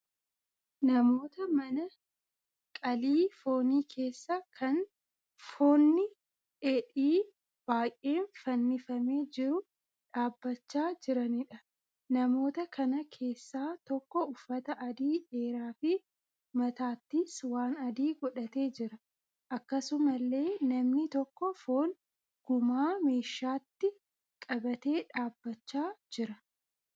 Namoota mana qalii foonii keessa kan foonni dheedhiin baay'een fannifamee jiru dhaabbachaa jiraniidha. Namoota kana keessaa tokko uffata adii dheeraa fi mataattis waan adii godhatee jira. Akkasumallee namni tokko foon gumaa meeshaatti qabatee dhaabbachaa jira.